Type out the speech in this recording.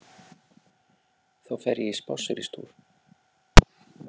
Þá fer ég í spásseristúr.